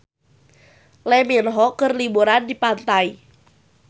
Lee Min Ho keur liburan di pantai